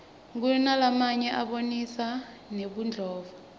kunalamanye abonisa nebudlova